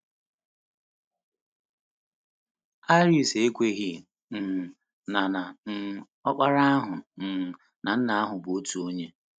Arius ekweghị um na na um Ọkpara ahụ na um Nna ahụ bụ otu onye.